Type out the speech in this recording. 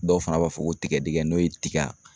Dɔw fana b'a fɔ ko tigɛdɛgɛ n'o ye tiga